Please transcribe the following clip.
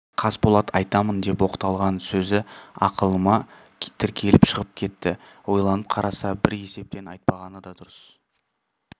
қасболат айтамын деп оқталған сөзі алқымына тіреліп шығып кетті ойланып қараса бір есептен айтпағаны да дұрыс